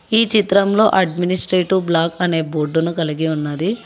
ఈ చిత్రంలో administrative block అనే బోర్డును కలిగి ఉన్నది.